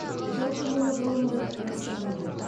жалпы мұны ғалымдар растаған жоқ